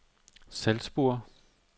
Salzburg